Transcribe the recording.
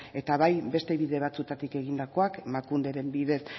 eta bai beste bide batzuetatik egindakoak emakunderen bidez